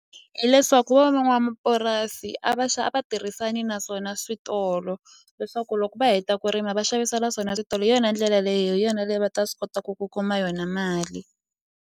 Hileswaku a va a va tirhisani naswona switolo leswaku loko va heta ku rima va xavisela swona switolo hi yona ndlela leyi hi yona leyi va ta swi kotaku ku kuma yona mali.